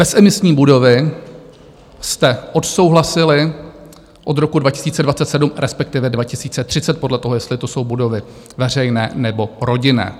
Bezemisní budovy jste odsouhlasili od roku 2027, respektive 2030, podle toho, jestli to jsou budovy veřejné, nebo rodinné.